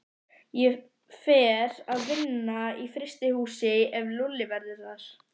Ég fer að vinna í frystihúsi ef Lúlli verður þar.